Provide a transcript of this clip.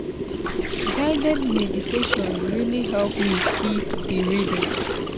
guided meditation really help me keep the rhythm.